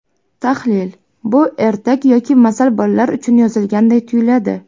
Tahlil Bu ertak yoki masal bolalar uchun yozilganday tuyuladi.